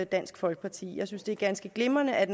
dansk folkeparti jeg synes at det er ganske glimrende at